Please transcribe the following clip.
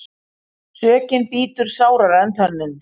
Sökin bítur sárara en tönnin.